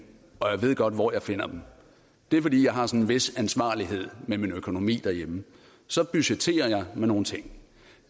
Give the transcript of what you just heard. og jeg ved godt hvor jeg finder dem det er fordi jeg har en vis ansvarlighed med min økonomi derhjemme så budgetterer jeg med nogle ting